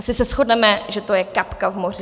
Asi se shodneme, že to je kapka v moři.